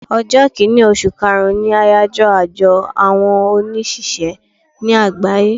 Ọjọ́ kínì osù kaàrún ni àyájọ́ ọjọ́ àwọn on òṣìṣẹ́ ní àgbáyé